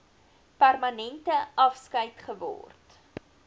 permanente afskeid geword